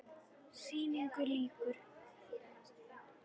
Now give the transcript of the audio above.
Sýningu lýkur.